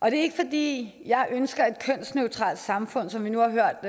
er ikke fordi jeg ønsker et kønsneutralt samfund som vi nu har hørt